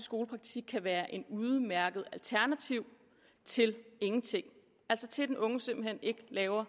skolepraktik kan være et udmærket alternativ til ingenting altså til at den unge simpelt hen ikke laver